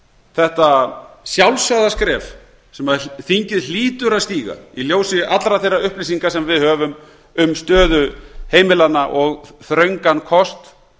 þetta sjálfsagða skref sem þingið hlýtur að stíga í ljósi allra þeirra upplýsinga sem við höfum um stöðu heimilanna og þröngan kost